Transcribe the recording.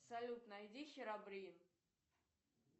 салют найди херобрин